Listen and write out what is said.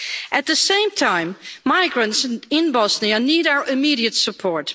At the same time, migrants in Bosnia need our immediate support.